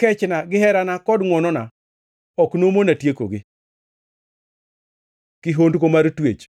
Kechna gi herana kod ngʼwonona ok nomona tiekogi.’ ” Kihondko mar twech